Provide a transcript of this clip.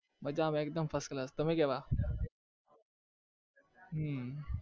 મજામાં એકદમ first class તમે કેવા? હમ